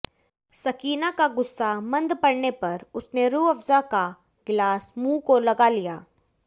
सकीना का गुस्सा मंद पडऩे पर उसने रूह अफजा का गिलास मुंह को लगा लिया